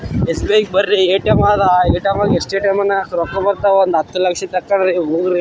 ಎಸ್‌.ಬಿ.ಐಗ ಬರಿ ಏ.ಟಿ.ಎಮ್ ಆದ ಏ.ಟಿ.ಎಮ್ ದಾಗ ರೊಕ್ಕ ಬರ್ತಾವ ಒಂದು ಹತ್ತ ಲಕ್ಷ ತನ್‌ --